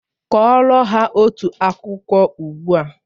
Kọrọ ha otu akụkọ ugbu a!